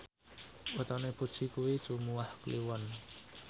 wetone Puji kuwi Jumuwah Kliwon